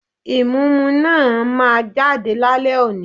Ìmúǹmúná máa jáde lálẹ́ òní